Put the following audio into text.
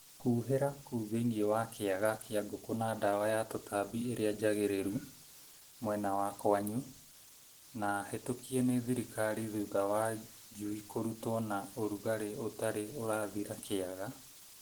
Hũhĩra kũu thĩinĩ wa kĩaga kĩa ngũkũ na ndawa ya tũtambi ĩrĩa njagĩrĩru mwena wa kwanyu na hĩtũkie nĩ thirikari thutha wa njui kũrũtwo na ũrugarĩ ũtarĩ ũrathira kĩaga